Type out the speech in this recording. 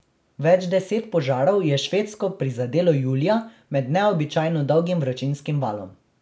Več deset požarov je Švedsko prizadelo julija med neobičajno dolgim vročinskim valom.